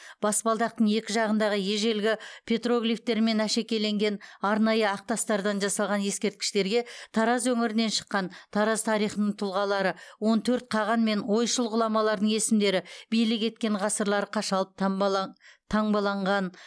баспалдақтың екі жағындағы ежелгі петроглифтермен әшекейленген арнайы ақ тастардан жасалған ескерткіштерге тараз өңірінен шыққан тараз тарихының тұлғалары он төрт қаған мен ойшыл ғұламалардың есімдері билік еткен ғасырлары қашалып таңбал таңбаланған